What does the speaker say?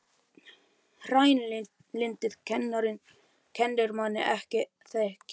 Hreinlyndið kennir manni ekki að þekkja náungann.